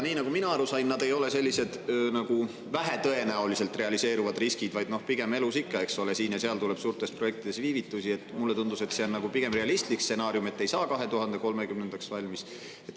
Nii nagu mina aru sain, need ei ole vähetõenäoliselt realiseeruvad riskid, vaid pigem – elus ikka, eks ole, siin ja seal tekib projektides viivitusi – mulle tundus, et see on nagu realistlik stsenaarium, et ei saa 2030. aastaks valmis.